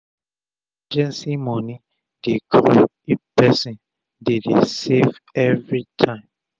emergency moni dey grow if person dey dey save everi time